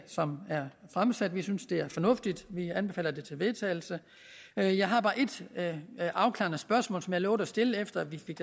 som er fremsat vi synes det er fornuftigt vi anbefaler det til vedtagelse jeg jeg har bare et afklarende spørgsmål som jeg lovede at stille da vi fik